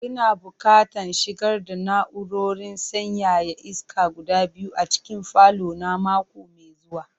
Ina buƙatan shigar da na'urorin sanyaya iska guda biyu a cikin falo na mako mai zuwa.